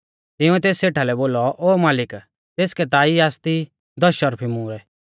तिंउऐ तेस सेठा लै बोलौ ओ मालिक तेसकै ता ई आसती दस शर्फी मुहरै